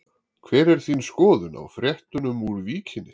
Hver er þín skoðun á fréttunum úr Víkinni?